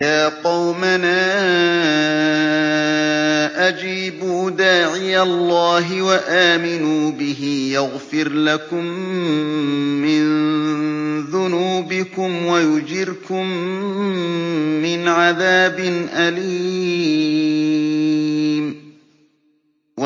يَا قَوْمَنَا أَجِيبُوا دَاعِيَ اللَّهِ وَآمِنُوا بِهِ يَغْفِرْ لَكُم مِّن ذُنُوبِكُمْ وَيُجِرْكُم مِّنْ عَذَابٍ أَلِيمٍ